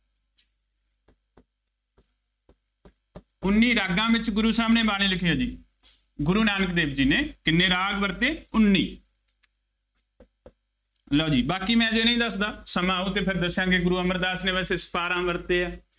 ਉੱਨੀ ਰਾਗਾਂ ਵਿੱਚ ਗੁਰੂ ਸਾਹਿਬ ਨੇ ਬਾਣੀ ਲਿਖੀ ਹੈ ਜੀ, ਗੁਰੂ ਨਾਨਕ ਦੇਵ ਜੀ ਨੇ ਕਿੰਨੇ ਰਾਗ ਵਰਤੇ, ਉੱਨੀ ਲਉ ਜੀ, ਬਾਕੀ ਮੈਂ ਹਜੇ ਨਹੀਂ ਦੱਸਦਾ, ਸਮਾਂ ਆਉ ਅਤੇ ਫੇਰ ਦੱਸਾਂਗੇ, ਗੁਰੂ ਅਮਰਦਾਸ ਨੇ ਵੈਸੇ ਸਤਾਰਾਂ ਵਰਤੇ ਆ।